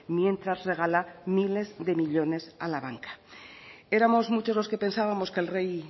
mientras regala miles de millónes a la banca éramos muchos los que pensábamos que el rey